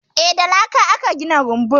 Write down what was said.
Eh, da laka aka gina rumbun.